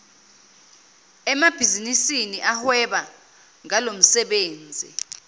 emabhizinisini ahweba ngalomsebenzi